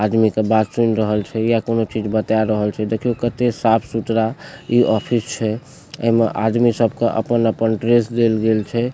आदमी के बात सुन रहल छै या कोनो चीज बता रहल छै देखियो कते साफ-सुथरा इ ऑफिस छै एमे आदमी सब के अपन-अपन ड्रेस देल गेल छै।